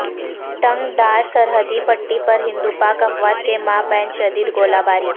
ٹنگڈار سرحدی پٹی پر ہندوپاک افواج کے مابین شدید گولہ باری